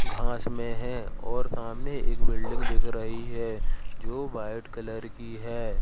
घास में है और सामने एक बिल्डिंग दीख रही है जो वाइट कलर की है।